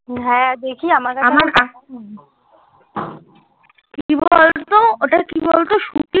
হ্যাঁ দেখি আমার কাছে ওটা কি বল তো